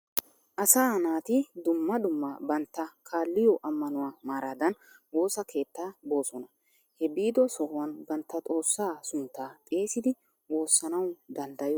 Asaa naati dumma dumma bantta kaalliyo ammanuwa maaradan woosa keettaa boosona. He biido sohuwan bantta xoossaa sunttaa xeesidi woossanawu danddayosona.